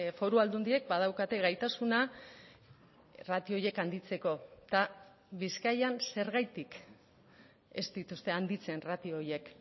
foru aldundiek badaukate gaitasuna ratio horiek handitzeko eta bizkaian zergatik ez dituzte handitzen ratio horiek